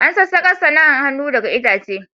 An sassakas sana'an hanun daga itace.